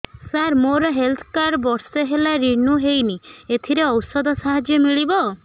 ସାର ମୋର health card ବର୍ଷେ ହେଲା ରିନିଓ ହେଇନି ଏଥିରେ ଔଷଧ ସାହାଯ୍ୟ ମିଳିବ